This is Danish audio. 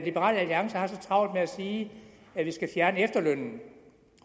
liberal alliance har så travlt med at sige at vi skal fjerne efterlønnen